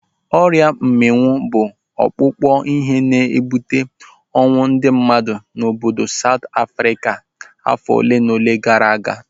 Ọrịa mminwu bụ ọkpụkpụ ihe na-ebute ọnwụ ndị mmadụ n'obodo Saut Afrịka afọ olenaole gara aga.